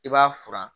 I b'a furan